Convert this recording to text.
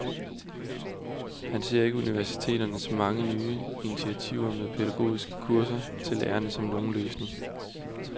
Han ser ikke universiteternes mange nye initiativer med pædagogiske kurser til lærerne som nogen løsning.